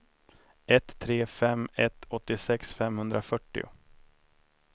ett tre fem ett åttiosex femhundrafyrtio